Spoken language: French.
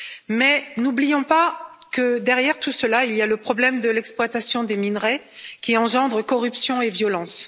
Mais n'oublions pas que derrière tout cela il y a le problème de l'exploitation des minerais, qui engendre corruption et violence.